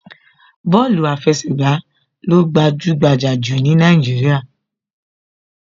Bọ́ọ̀lù àfẹsẹ̀gbà ló gbajúgbajà jù ní Nàìjíríà